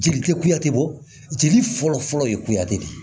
Jeli tɛ kuyate bɔ jeli fɔlɔfɔlɔ ye kuyate de